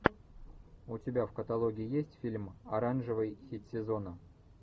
у тебя в каталоге есть фильм оранжевый хит сезона